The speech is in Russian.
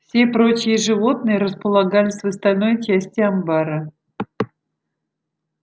все прочие животные располагались в остальной части амбара